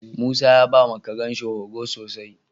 Musa ya bawa Karen shi horo sosai